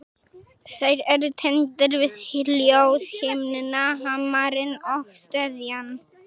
Þeir eru tengdir við hljóðhimnuna, hamarinn og steðjann.